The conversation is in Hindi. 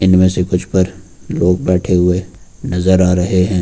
इनमें से कुछ पर लोग बैठे हुए नजर आ रहे हैं।